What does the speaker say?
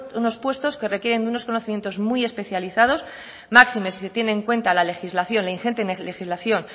unos puestos que requieren de unos conocimientos muy especializados máxime si se tiene en cuenta la legislación vigente legislación